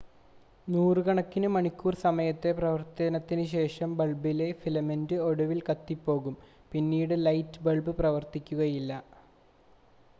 നൂറുകണക്കിന് മണിക്കൂർ സമയത്തെ പ്രവർത്തനത്തിന് ശേഷം ബൾബിലെ ഫിലമെൻ്റ് ഒടുവിൽ കത്തിപ്പോകും പിന്നീട് ലൈറ്റ് ബൾബ് പ്രവർത്തിക്കുകയില്ല